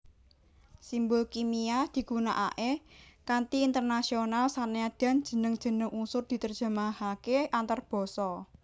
Simbol kimia digunakaké kanthi internasional sanadyan jeneng jeneng unsur diterjemahaké antarbasa